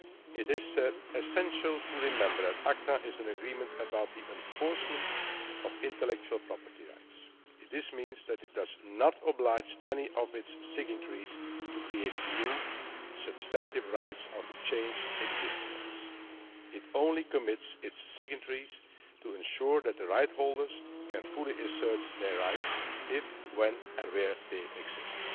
It is essential to remember that ACTA is an agreement concerning the enforcement of intellectual property rights. This means that it does not oblige any of its signatories to create new, substantive rights or to change existing ones. It only commits its signatories to ensuring that the rights holders can fully assert their rights if, when and where they exist.